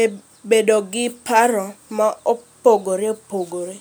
e bedo gi paro ma opogore opogore